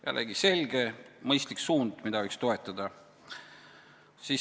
Jällegi selge ja mõistlik suund, mida võiks toetada.